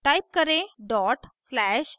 type करें dot slash def